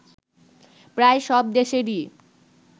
প্রায় সব দেশেরই